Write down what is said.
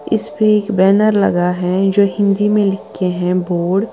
इसपे एक बैनर लगा है जो हिंदी में लिखे हैं बोर्ड ।